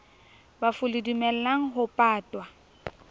bafu le dumellang ho patwa